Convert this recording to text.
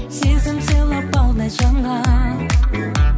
сезім сыйлап балдай жанған